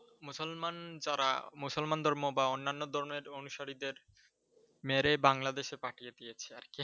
মুসলমান যারা, মুসলমান ধর্ম বা অন্যান্য ধর্মের অনুসারীদের মেরে বাংলাদেশে পাঠিয়ে দিয়েছে আর কি!